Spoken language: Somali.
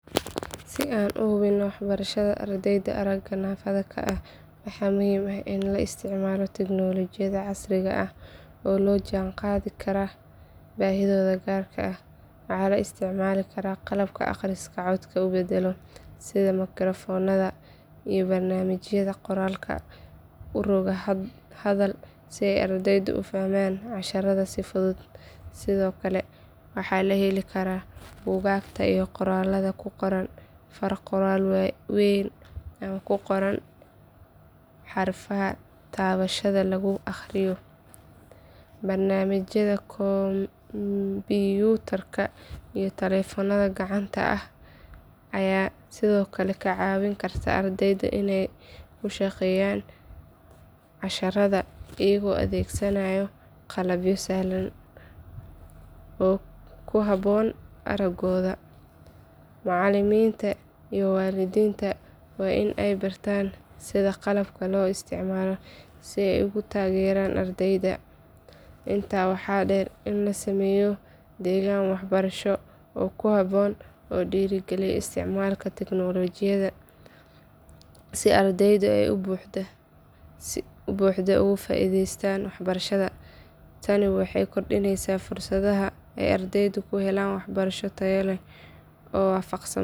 Si aan u hubinno waxbarashada ardayda aragga naafada ka ah waxaa muhiim ah in la isticmaalo tignoolajiyada casriga ah oo la jaan qaadi karta baahidooda gaarka ah. Waxaa la isticmaali karaa qalabka akhriska codka u beddela sida makarafoonada iyo barnaamijyada qoraalka u roga hadal si ardaydu u fahmaan casharrada si fudud. Sidoo kale waxaa la heli karaa buugaagta iyo qoraallada ku qoran far qoraal weyn ama ku qoran xarfaha taabashada lagu aqriyo. Barnaamijyada kombiyuutarka iyo taleefannada gacanta ayaa sidoo kale ka caawin kara ardayda inay ku shaqeeyaan casharrada iyagoo adeegsanaya qalabyo sahlan oo ku habboon araggooda. Macalimiinta iyo waalidiinta waa in ay bartaan sida qalabkan loo isticmaalo si ay ugu taageeraan ardayda. Intaa waxaa dheer in la sameeyo deegaan waxbarasho oo ku habboon oo dhiirrigeliya isticmaalka tignoolajiyada si ardaydu ay si buuxda uga faa’iideystaan waxbarashada. Tani waxay kordhinaysaa fursadaha ay ardaydu ku helaan waxbarasho tayo leh oo waafaqsan.